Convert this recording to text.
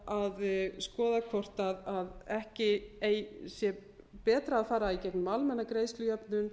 að skoða hvort ekki sé betra að fara í gegnum almenna greiðslujöfnun